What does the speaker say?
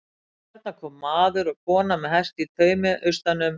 Þarna koma maður og kona með hest í taumi austan um